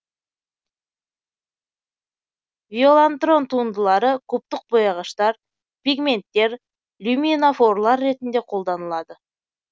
виолантрон туындылары кубтық бояғыштар пигменттер люминофорлар ретінде колданылады